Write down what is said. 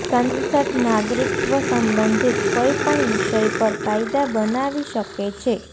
સંસદ નાગરિકત્વ સંબંધિત કોઈપણ વિષય પર કાયદા બનાવી શકે છે